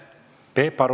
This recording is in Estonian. Peep Aru.